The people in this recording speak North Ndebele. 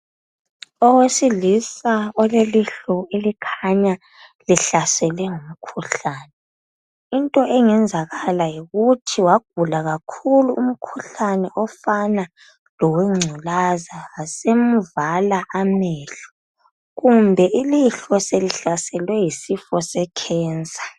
Owesilisa olelihlo elikhanya lihlaselwe ngumkhuhlane. Into engenzakala yikuthi wagula kakhulu umkhuhlane ofana lowengculaza yasimvala amehlo kumbe ilihlo selihlaselwe yisifo secancer.